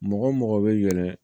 Mɔgɔ mɔgɔ bɛ yɛlɛ